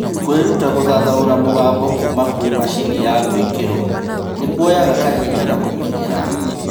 Kwĩruta gũthathaũra mũgambo kuma kwĩ macini ya gwĩkĩrwo nĩkuoyaga kahinda na kũmenyera